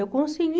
Eu consegui